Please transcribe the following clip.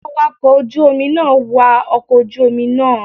Awakọ̀ ojú Omi náà wa ọkọ̀ ojú Omi naa